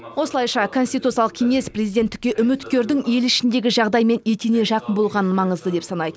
осылайша конституциялық кеңес президенттікке үміткердің ел ішіндегі жағдаймен етене жақын болғанын маңызды деп санайды